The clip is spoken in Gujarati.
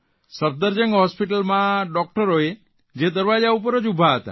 સબદરજંગ હોસ્પીટલમાં ડૉકટરોએ જે દરવાજા ઉપર જ ઉભા હતા